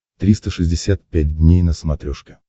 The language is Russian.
триста шестьдесят пять дней на смотрешке